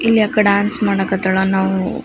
ಇಲ್ಲಿ ಆಕಾ ಡ್ಯಾನ್ಸ್ ಮಾಡ ಕತ್ತಾಳ ನಾವು --